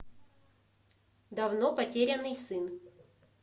давно потерянный сын